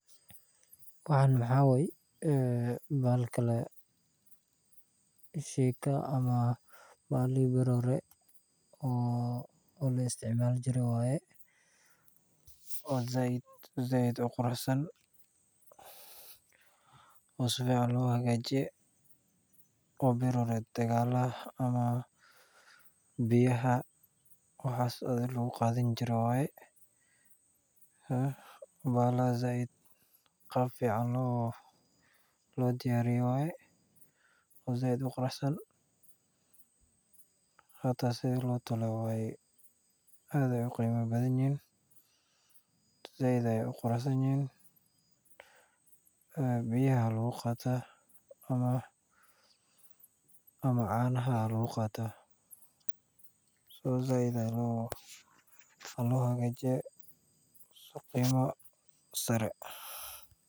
Waxaan waxaa waye bahalki shiika ama bahalihi beri hore la isticmaali jiray oo sait uqurux san oo lahaagajiye oo biyaha lagu qaadan jire waye oo qaab fiican loo diyaariye waaye oo quruxsan waay qiima badan yihiin waay quruxsan yihiin biyaha iyo canaha ayaa lagu qaata si qiimo sare ayeey uhagajisan yihiin.